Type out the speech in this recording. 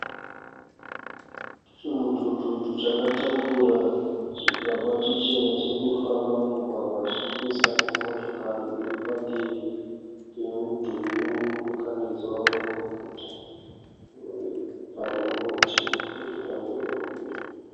Chimudhudhudhu chakatakura chigaba chichena chiri kufamba mumugwagwa chichipesana nemotikari iri padivi pemudhuri wemudurikanidzwa uri muguta. Pane muti uri pamberi pemudhuri.